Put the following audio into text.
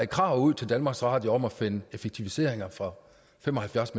krav til danmarks radio om at finde effektiviseringer for fem og halvfjerds